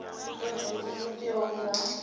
ita zwoṱhe zwo teaho kha